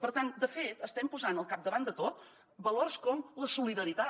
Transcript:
per tant de fet estem posant al capdavant de tot valors com la solidaritat